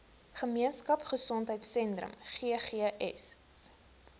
gemeenskap gesondheidsentrum ggs